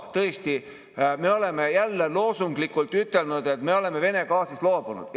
Tõesti, me oleme jälle loosunglikult ütelnud, et me oleme Vene gaasist loobunud.